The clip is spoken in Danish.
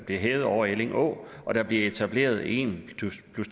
bliver hævet over elling å og der bliver etableret en